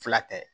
Fila tɛ